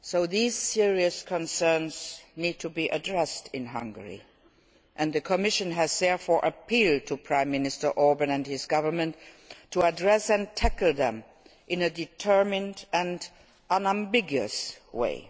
These serious concerns need to be addressed in Hungary, and the Commission has therefore appealed to Prime Minister Orbán and his government to address and tackle them in a determined and unambiguous way.